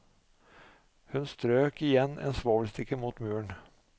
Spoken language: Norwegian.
Hun strøk igjen en svovelstikke mot muren.